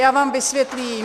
Já vám vysvětlím -